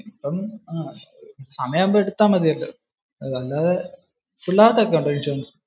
സമയം ആവുമ്പൊ എടുത്താൽ മതിയല്ലോ. പിള്ളേർക്ക് ഒക്കെ ഉണ്ടോ ഇൻഷുറൻസ്?